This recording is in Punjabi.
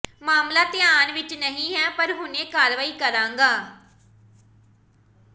ਮਾਮਲਾ ਧਿਆਨ ਵਿੱਚ ਨਹੀਂ ਹੈ ਪਰ ਹੁਣੇ ਕਾਰਵਾਈ ਕਰਾਂਗਾ